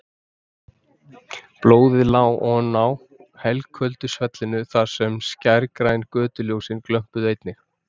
Blóðið lá oná helköldu svellinu þar sem skærgræn götuljósin glömpuðu einnig.